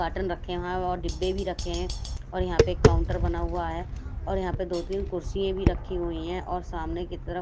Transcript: carton रखे हैं और डिब्बे भी रखे हैं और यहाँ पे एक काउंटर बना हुआ है और यहाँ पे दो-तीन कुर्सियें भी रखी हुई हैं और सामने की तरफ--